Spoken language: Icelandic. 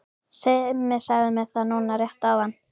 Simmi sagði mér það núna rétt áðan.